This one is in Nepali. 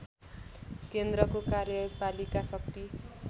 केन्द्रको कार्यपालिका शक्ति